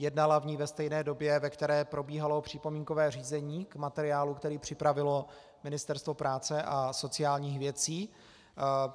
Jednala o ní ve stejné době, ve které probíhalo připomínkové řízení k materiálu, který připravilo Ministerstvo práce a sociálních věcí.